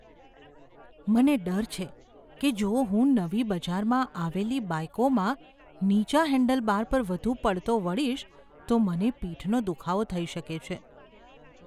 મને ડર છે કે જો હું નવી બજારમાં આવેલી બાઈકોમાં નીચા હેન્ડલબાર પર વધુ પડતો વળીશ તો મને પીઠનો દુખાવો થઈ શકે છે.